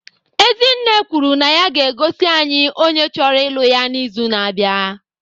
Ezinne kwuru na ya ga-egosi anyị onye chọrọ ịlụ ya n'izu na-abịa.